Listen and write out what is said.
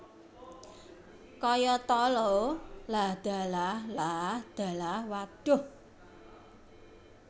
Kayata lho lah dalah lah dalah wadhuh